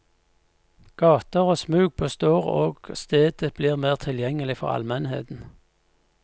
Gater og smug består og stedet blir mer tilgjengelig for almenheten.